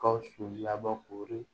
Gawusu labɔ koori